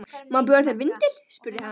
Má bjóða þér vindil? spurði hann.